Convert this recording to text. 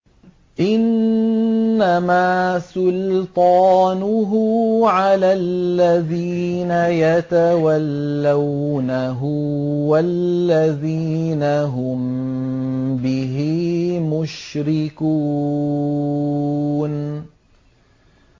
إِنَّمَا سُلْطَانُهُ عَلَى الَّذِينَ يَتَوَلَّوْنَهُ وَالَّذِينَ هُم بِهِ مُشْرِكُونَ